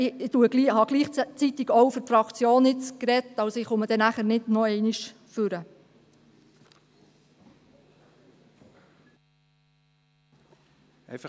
Ich habe nun gleichzeitig auch für die Fraktion gesprochen, komme nachher also nicht mehr ans Rednerpult.